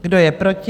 Kdo je proti?